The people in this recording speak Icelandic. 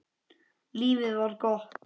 Lífið var gott.